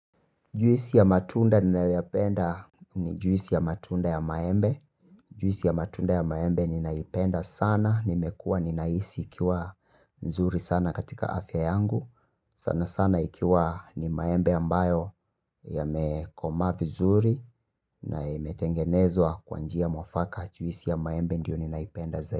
Juisi ya matunda ninayoyapenda ni juisi ya matunda ya maembe. Juisi ya matunda ya maembe ninaipenda sana. Nimekua ninahisi ikiwa nzuri sana katika afya yangu. Sana sana ikiwa ni maembe ambayo yamekomaa vizuri. Na imetengenezwa kwa njia mwafaka juisi ya maembe ndiyo ninaipenda zaidi.